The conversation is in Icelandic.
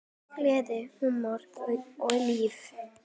Gleði, húmor og líf.